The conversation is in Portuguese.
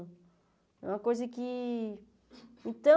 É uma coisa que... Então...